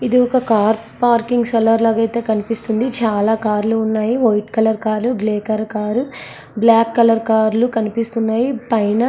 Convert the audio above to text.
ఇది ఒక car parking cellar లాగా అయితే కనిపిస్తుంది. చాలా కార్లు ఉన్నాయి white colour car grey colour car black colour car చాలా కార్ అయితే కనిపిస్తున్నాయి.